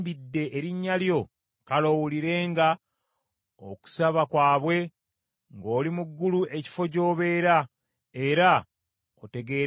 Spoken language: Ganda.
kale owulirenga okusaba kwabwe n’okwegayirira kwabwe ng’oli mu ggulu ekifo gy’obeera, era otegeerenga ensonga yaabwe.